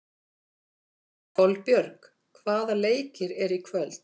Kolbjörg, hvaða leikir eru í kvöld?